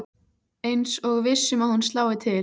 Eins og viss um að hún slái til.